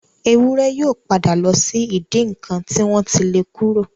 Ewúrẹ́ yóò padà lọ sí ìdí ǹnkan tí wọ́n ti le kúrò.